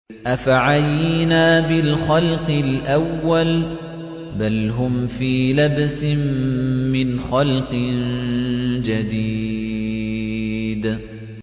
أَفَعَيِينَا بِالْخَلْقِ الْأَوَّلِ ۚ بَلْ هُمْ فِي لَبْسٍ مِّنْ خَلْقٍ جَدِيدٍ